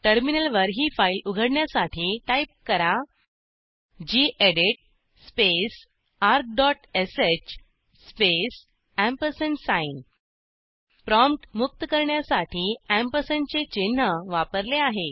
टर्मिनलवर ही फाईल उघडण्यासाठी टाईप करा गेडीत स्पेस argश स्पेस एम्परसँड साइन प्रॉम्प्ट मुक्त करण्यासाठी एम्परसँड चे चिन्ह वापरले आहे